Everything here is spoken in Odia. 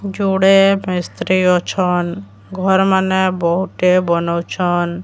ଯୁଡେ ମିସତ୍ରିି ଅଛନ। ଘର ମାନେ ବହୁତ ବନଉଛନ।